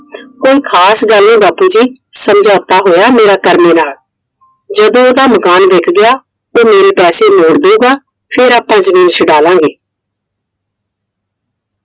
ਕੋਈ ਖਾਸ ਗੱਲ ਨਹੀਂ ਬਾਪੂ ਜੀ। ਸਮਝੌਤਾ ਹੋਇਆ ਮੇਰਾ ਕਰਮੇ ਨਾਲ। ਜਦੋ ਉਹਦਾ ਮਕਾਨ ਵਿਕ ਗਿਆ। ਉਹ ਮੇਰੇ ਪੈਸੇ ਮੌੜ ਦਏਗਾ। ਫੇਰ ਆਪਾ ਜਮੀਨ ਛੁਡਾ ਲਾਂਗੇ।